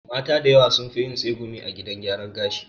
Mata da yawa sunfi yin tsegumi a gidan gyaran gashi